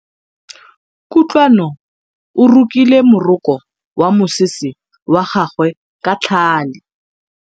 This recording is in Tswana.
Kutlwanô o rokile morokô wa mosese wa gagwe ka tlhale.